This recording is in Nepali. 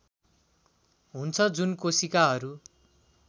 हुन्छ जुन कोशिकाहरू